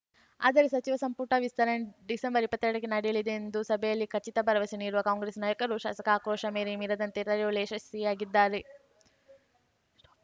ಆದರೆ ಸಚಿವ ಸಂಪುಟ ವಿಸ್ತರಣೆ ಡಿಸೆಂಬರ್ಇಪ್ಪತ್ತೆರಡಕ್ಕೆ ನಡೆಯಲಿದೆ ಎಂದು ಸಭೆಯಲ್ಲಿ ಖಚಿತ ಭರವಸೆ ನೀಡಿರುವ ಕಾಂಗ್ರೆಸ್‌ ನಾಯಕರು ಶಾಸಕ ಆಕ್ರೋಶ ಮೇರೆ ಮೀರದಂತೆ ತಡೆಯುವಲ್ಲಿ ಯಶಸ್ವಿಯಾಗಿದ್ದಾರೆ